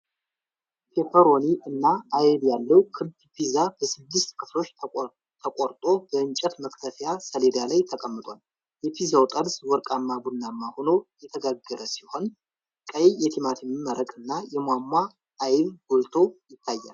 ፔፐሮኒ እና አይብ ያለው ክብ ፒዛ በስድስት ክፍሎች ተቆርጦ በእንጨት መክተፊያ ሰሌዳ ላይ ተቀምጧል። የፒዛው ጠርዝ ወርቃማ ቡናማ ሆኖ የተጋገረ ሲሆን፣ ቀይ የቲማቲም መረቅ እና የሟሟ አይብ ጎልቶ ይታያል።